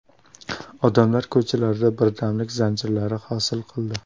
Odamlar ko‘chalarda birdamlik zanjirlari hosil qildi.